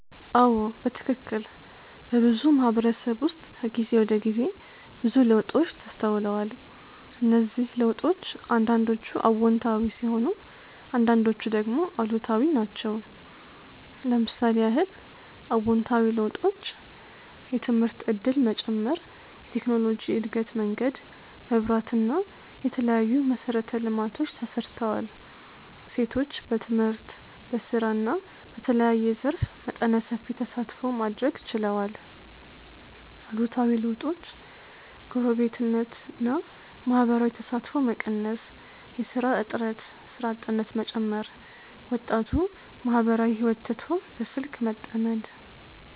አዎ በትክክል። በብዙ ማህበረተሰብ ዉስጥ ከጊዜ ወደ ጊዜ ብዙ ለዉጦች ተስተዉለዋል። እነዝህ ለዉጦች አንዳንዶቹ አዎንታዊ ሲሆኑ አንዳንዶቹ ደግሞ አሉታዊ ናቸው። ለምሳሌ ያህል :- አዎንታዊ ለዉጦች:- የትምህርት ዕድል መጨመር የቴክኖሎጅ እድገት መንገድ, መብራት እና የተለያዩ መሰረቴ ልማቶች ተሰርተዋል ሴቶች በትምህርት, በስራ እና በተለያየ ዘርፍ መጠነ ሰፊ ተሳትፎ ማድረግ ችለዋል አሉታዊ ለዉጦች :- ጎረቤትነት እና ማህበራዊ ተሳትፎ መቀነስ የስራ እጥረት (ስራ አጥነት መጨመር ) ወጣቱ ማህበራዊ ህይወት ትቶ በስልክ መተመድ